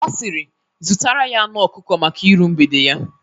Ọ siri "zutara ya anu ọkụkọ maka ịru mgbede ya"